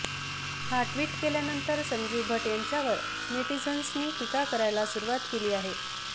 हा ट्विट केल्यानंतर संजीव भट्ट यांच्यावर नेटिझन्सनी टीका करायला सुरूवात केली आहे